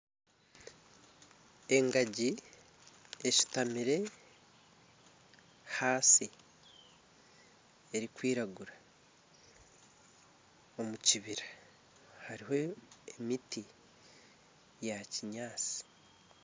Engaji eshutamire ahansi ,erikwiragura omukibira hariho emiti ya kinyatsi.